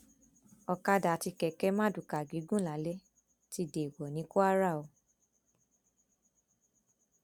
ọkadà àti kẹkẹ mardukà gígùn lálè ti déèwọ ní kwara o